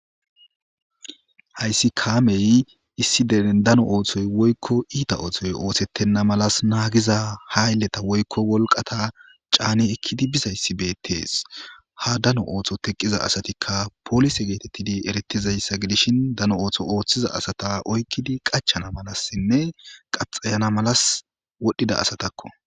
Hayssi kaamey issi deren dano ooththoy woykko iita oothoy oosettenna malas naagiza ha ylleta woykko wolqata caane ekkidi bizayssi beettees ha dano ootho teqqiza asatikka polise geetettidi erettizayssa gidishin dano ootho ooththiza asata oykkidi qachana malassinne qaxayana malas wodhdhida asatakko.